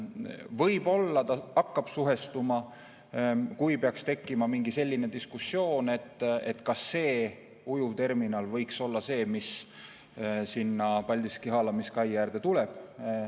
Võib-olla see hakkab suhestuma, kui peaks tekkima mingi diskussioon, kas see ujuvterminal võiks olla see, mis sinna Paldiski haalamiskai äärde tuleb.